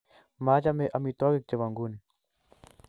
Machame amitwogik chebo nguni